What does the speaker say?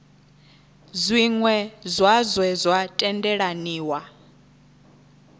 zwiṅwe zwa zwe zwa tendelaniwa